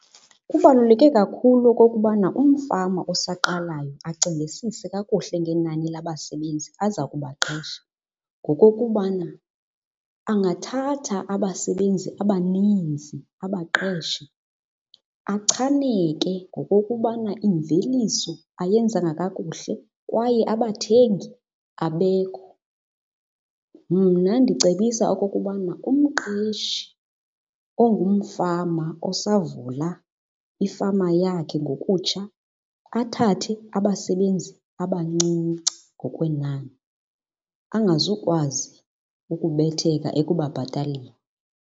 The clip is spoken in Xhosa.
Kubaluleke kakhulu okokubana umfama osaqalayo acingisise kakuhle ngenani labasebenzi aza kubaqesha ngokokubana angathatha abasebenzi abaninzi abaqeshe achaneke ngokokubana imveliso ayenzanga kakuhle kwaye abathengi abekho. Mna ndicebisa okokubana umqeshi ongumfama osavula ifama yakhe ngokutsha athathe abasebenzi abancinci ngokwenani, angazukwazi ukubetheka ekubabhataleni.